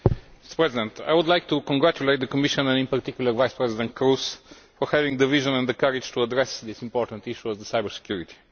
Mr President, I would like to congratulate the Commission and in particular Vice President Kroes for having the vision and the courage to address this important issue of cybersecurity.